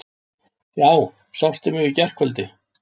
Já, sástu mig í gærkvöldi?